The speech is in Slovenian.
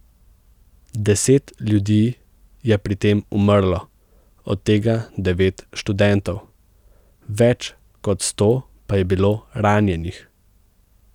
Deset ljudi je pri tem umrlo, od tega devet študentov, več kot sto pa je bilo ranjenih.